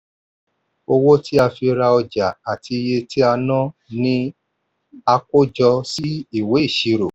owó tí a fi ra ọjà àti iye tí a ná ni a kó jọ sí ìwé ìṣírò.